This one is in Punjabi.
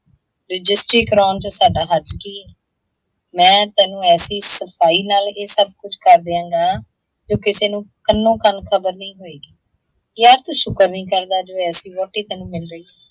ਰਜਿੱਸਟਰੀ ਕਰਾਉਣ ਚ ਸਾਡਾ ਹਰਜ਼ ਕੀ ਹੈ। ਮੈਂ ਤੈਨੂੰ ਐਸੀ ਸਫ਼ਾਈ ਨਾਲ ਇਹ ਸਬ ਕੁੱਝ ਕਰ ਦਿਆਂਗਾ, ਕਿ ਕਿਸੇ ਨੂੰ ਕੰਨੋ - ਕੰਨ ਖ਼ਬਰ ਨਹੀਂ ਹੋਏਗੀ, ਯਾਰ ਤੂੰ ਸ਼ੁੱਕਰ ਨਹੀਂ ਕਰਦਾ ਜੋ ਐਸੀ ਵਹੁਟੀ ਤੈਨੂੰ ਮਿੱਲ ਰਹੀ ਹੈ।